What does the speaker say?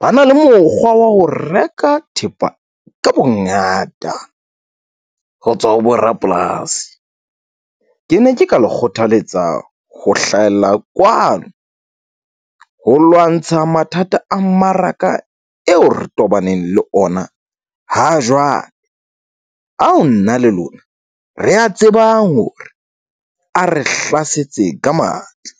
ba na le mokgwa wa ho reka thepa ka bongata ho tswa ho borapolasi. Ke ne ke ka le kgothaletsa ho hlahella kwano ho lwantsha mathata a mmaraka eo re tobaneng le ona ha jwale. Ao nna le lona re a tsebang hore a re hlasetse ka matla.